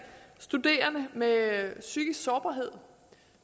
studerende med psykisk sårbarhed